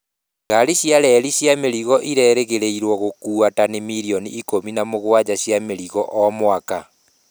Ngari cia reri cia mĩrigo irerĩgĩrĩrũo gũkuua tani milioni ikũmi na mũgwanja cia mĩrigo o mwaka.